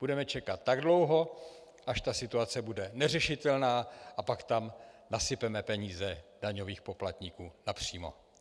Budeme čekat tak dlouho, až ta situace bude neřešitelná, a pak tam nasypeme peníze daňových poplatníků napřímo.